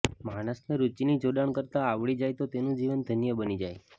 માણસને રુચિનું જોડાણ કરતાં આવડી જાય તો તેનું જીવન ધન્ય બની જાય